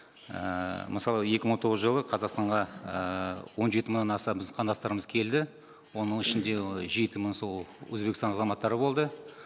ііі мысалы екі мың он тоғыз жылы қазақстанға ііі он жеті мыңнан аса біздің қандастарымыз келді оның ішінде жеті мың сол өзбекстан азаматтары болды